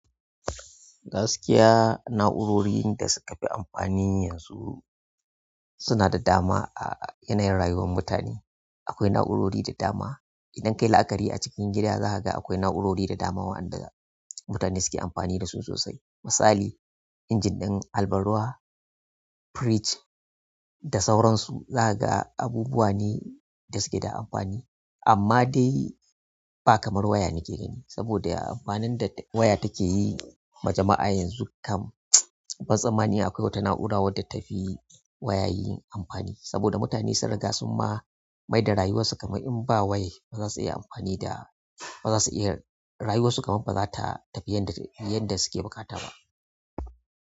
Gaskiya na'urorin da suka fi amfani yanzu suna da dama a yanayin rayuwar mutane. Akwai na'urori da dama. Idan ka yi la'akari a cikin gida, za ka ga akwai na'urori da dama waɗanda mutane suke amfani da su sosai. Misali, injin ɗin harban ruwa, firij da sauransu. Za ka ga abubuwa ne da suke da amfani, amma dai ba kamar waya nake gani. Saboda amfanin da waya take yi ma jama'a yanzu kam, ban tsammani akwai wata na'ura wadda ta fi waya yi amfani. Saboda mutane sun riga sun ma maida rayuwarsu kamar in ba wai ba za su iya rayuwarsu kamar ba za ta tafi yanda suke buƙata ba.